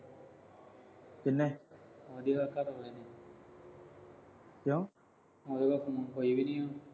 ਕੀਹਨੇ। ਉਹਦੇ ਘਰਵਾਲੇ ਨੇ ਕਿਉਂ। ਉਹਦੇ ਕੋਲ ਤਾਂ phone ਹੈ ਨੀਂ।